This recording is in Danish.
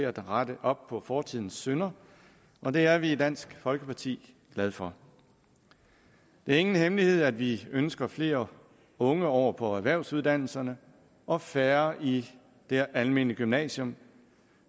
at rette op på forsidens synder og det er vi i dansk folkeparti glade for det er ingen hemmelighed at vi ønsker flere unge over på erhvervsuddannelserne og færre i det almene gymnasium